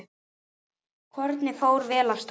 Kornið fór vel af stað.